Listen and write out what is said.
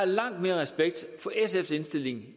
langt mere respekt for sfs indstilling